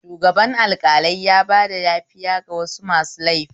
Shugaban alƙalai yabada yafiya ga wasu masu laifi